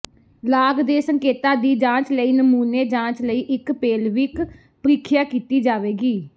ਲਾਗ ਦੇ ਸੰਕੇਤਾਂ ਦੀ ਜਾਂਚ ਲਈ ਨਮੂਨੇ ਜਾਂਚ ਲਈ ਇੱਕ ਪੇਲਵੀਕ ਪ੍ਰੀਖਿਆ ਕੀਤੀ ਜਾਵੇਗੀ